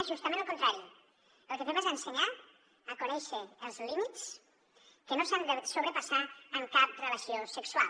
justament el contrari el que fem és ensenyar a conèixer els límits que no s’han de sobrepassar en cap relació sexual